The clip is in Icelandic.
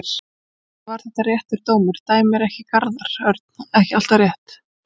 Sennilega var þetta réttur dómur, dæmir ekki Garðar Örn ekki alltaf rétt?